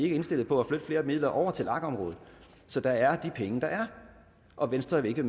er indstillet på at flytte flere midler over til lag området så der er de penge der er og venstre vil